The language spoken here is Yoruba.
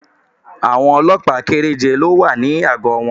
Àwọn Ọlọ́pàá kẹ́rẹ́je ni ó wà ní àgọ́ wọn